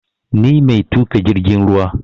Ni mai tuƙa jirgin ruwa